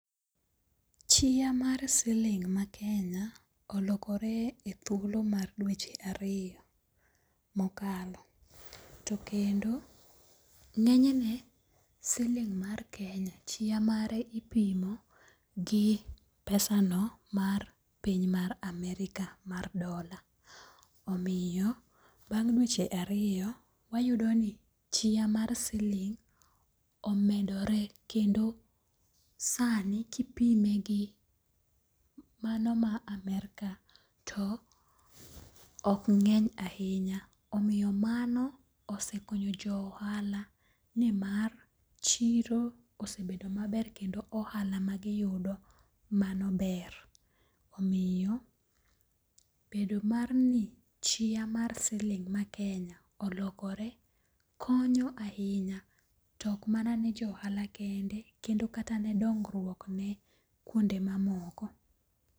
Chia mar siling makenya olokore e thuolo mar dweche ariyo, mokalo to kendo nge'nyne siling mar Kenya chia mare ipimo gi pesano mar piny mar Amerika mar dola, omiyo bang dweche ariyo wayudo ni chia mar siling omedore kendo sani kipime gi mano mar Amerika to ok nge'ny ahinya omiyo mano osekonyo jo ohala nimar chiro osebedo maber kendo ohala magiyudo mano ber, omiyo bedo mar ni chia mar siling mar Kenya olokore konyo ahinya to ok mana ni jo ohala kende kendo kata ne dong'ruokne kuonde mamoko.